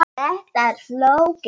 Þetta er flókið.